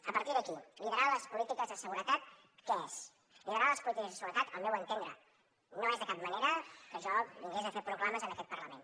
a partir d’aquí liderar les polítiques de seguretat què és liderar les polítiques de seguretat al meu entendre no és de cap manera que jo vingués a fer proclames en aquest parlament